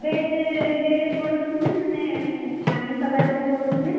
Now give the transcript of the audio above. Nonveg day ରେ ପଡୁଛି ନା ମାନେ, ଆମିଷ ବାରରେ ପଡୁଛି ନା?